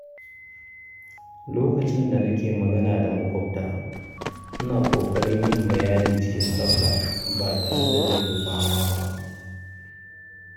Lokacin da nake magana da maƙwabta, ina ƙoƙarin yin bayani cikin tsafta ba tare da zurfafawa ba.